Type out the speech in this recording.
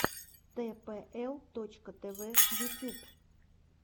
тпл точка тв ютюб